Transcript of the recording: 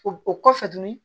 O o kɔfɛ tuguni